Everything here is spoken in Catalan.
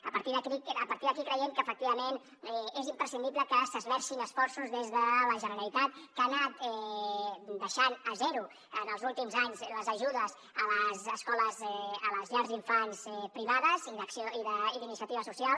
a partir d’aquí creiem que efectivament és imprescindible que s’hi esmercin esforços des de la generalitat que ha anat deixant a zero en els últims anys les ajudes a les llars d’infants privades i d’iniciativa social